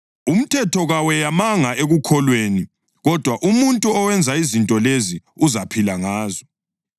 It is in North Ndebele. Umthetho kaweyamanga ekukholweni; kodwa, “Umuntu owenza izinto lezi uzaphila ngazo.” + 3.12 ULevi 18.5